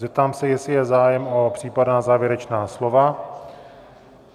Zeptám se, jestli je zájem o případná závěrečná slova?